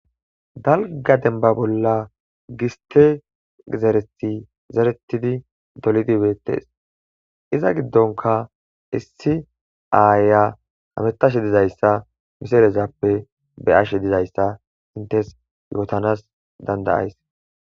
Dalgga dembba bolla giste zerethi zeretidi dolidi beetees iza giddonka issi aaya bettashe dizayssa zeerezappe be'ashe dizayssa hinttes yootanas dandda'ays.